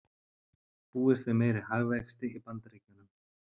Búist við meiri hagvexti í Bandaríkjunum